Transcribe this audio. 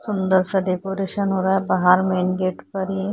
सुंदर सा डेकोरेशन हो रहा है बाहर मेन गेट पर यही--